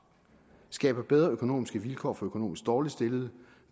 skabe bedre økonomiske vilkår for økonomisk dårligt stillede